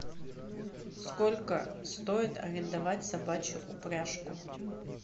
сколько стоит арендовать собачью упряжку